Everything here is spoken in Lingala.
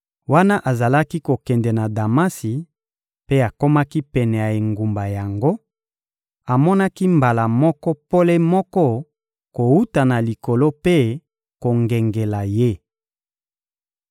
Wana azalaki kokende na Damasi mpe akomaki pene ya engumba yango, amonaki mbala moko pole moko kowuta na likolo mpe kongengela ye.